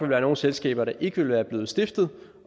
være nogle selskaber der ikke ville være blevet stiftet